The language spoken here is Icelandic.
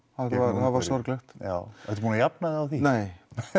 var sorglegt ertu búinn að jafna þig á því nei